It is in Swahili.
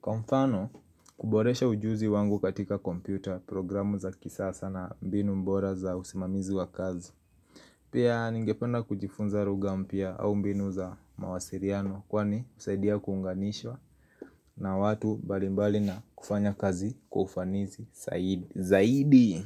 Kwa mfano kuboresha ujuzi wangu katika kompyuta, programu za kisasa na mbinu bora za usimamizi wa kazi Pia ningependa kujifunza lugha mpya au mbinu za mawasiriano kwani usaidia kuunganishwa na watu mbalimbali na kufanya kazi kwa ufanisi zaidi.